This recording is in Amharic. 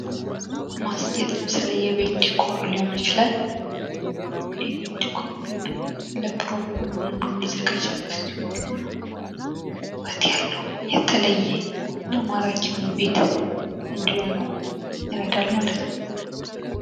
ማስጌጥ ለምሳሌ የቤት ዲኮር ሊሆን ይችላል ዲኮር ለፕሮግራም ምናምን የሚዘጋጅ ሲሆን ውበት ያለው የተለዬ እና ማራኪ የሆነ ቤት እንዲሆን ይረዳል ማለት ነው።